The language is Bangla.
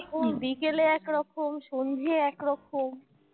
সকালে একরকম বিকালে একরকম সন্ধ্যায় একরকম